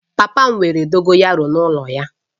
Papa m nwere dogoyaru n'ulo ya